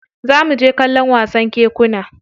Za mu je kallon wasan kekuna.